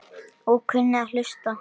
Og kunni að hlusta.